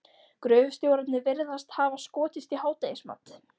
Gröfustjórarnir virðast hafa skotist í hádegismat.